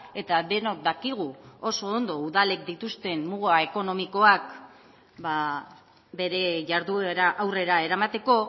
eta denok dakigu oso ondo udalek dituzten muga ekonomikoak bere jarduera aurrera eramateko